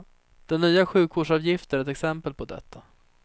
Den nya sjukvårdsavgiften är ett exempel på detta.